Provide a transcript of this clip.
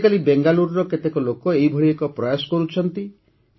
ଆଜିକାଲି ବେଙ୍ଗାଲୁରୁର କେତେକ ଲୋକ ଏହିଭଳି ଏକ ପ୍ରୟାସ କରୁଛନ୍ତି